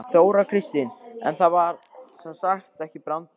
Þóra Kristín: En það var sem sagt ekki brandari?